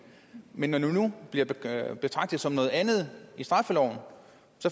men når de nu bliver betragtet som noget andet i straffeloven